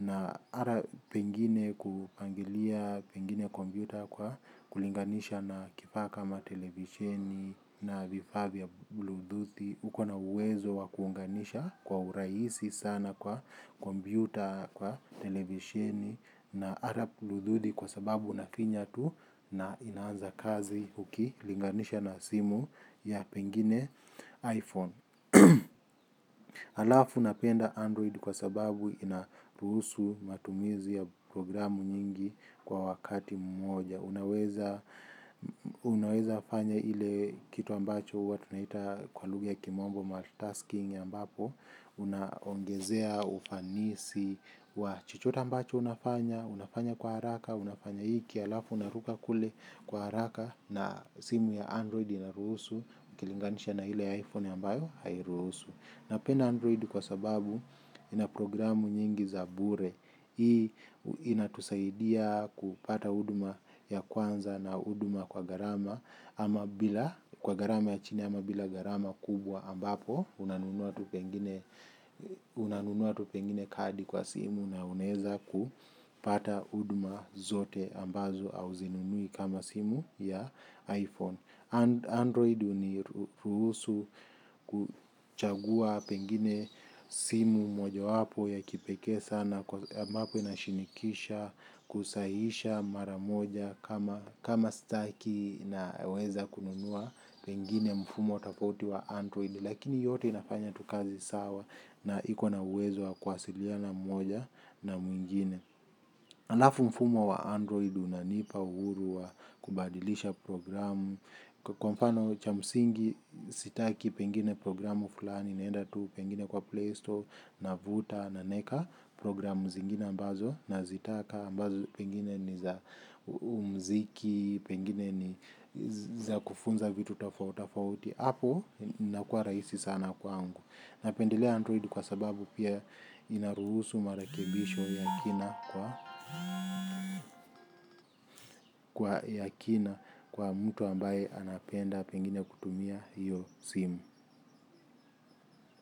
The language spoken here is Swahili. na ara pengine kupangilia pengine kombyuta kwa kulinganisha na kifaa kama televizieni na vifaa vya bluetoothi. Uko na uwezo wa kuunganisha kwa urahisi sana kwa kombyuta, kwa televishini na harap luthudi kwa sababu unafinyatu na inaanza kazi ukilinganisha na simu ya pengine iPhone. Alafu unapenda android kwa sababu inaruhusu matumizi ya programu nyingi kwa wakati mmoja. Unaweza unaweza fanya ile kitu ambacho huwa tunaita kwa lugha ya kimombo multitasking ambapo unaongezea ufanisi wa chochote ambacho unafanya, unafanya kwa haraka, unafanya hiki halafu unaruka kule kwa haraka na simu ya android inaruhusu. Ukilinganisha na ile iphone ambayo hairuhusu. Napenda android kwa sababu ina programu nyingi za bure. Hii inatusaidia kupata huduma ya kwanza na huduma kwa gharama. Kwa gharama ya chini ama bila garama kubwa ambapo unanunua tu pengine kadi kwa simu na unaeza kupata huduma zote ambazo auzinunui kama simu ya iPhone. Android huniruhusu kuchagua pengine simu mojawapo ya kipekee sana ambapo inashinikisha kusahihisha mara moja kama kama staki naweza kununua pengine mfumo tafauti wa Android. Lakini yote inafanya tu kazi sawa na iko na uwezo wa kuwasiliana mmoja na mwingine. Alafu mfumo wa android unanipa uhuru wa kubadilisha programu. Kwa mfano cha msingi sitaki pengine programu fulani. Naenda tu pengine kwa Play Store, navuta, na naeka programu zingine ambazo. Nazitaka ambazo pengine ni za umziki, pengine ni za kufunza vitu tafautafauti. Hapo inakua rahisi sana kwangu. Napendelea Android kwa sababu pia inaruhusu marekebisho ya kina kwa mtu ambaye anapenda pengine kutumia hiyo SIM.